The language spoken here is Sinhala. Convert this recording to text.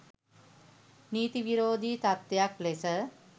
නීති විරෝධී තත්ත්වයක් ලෙස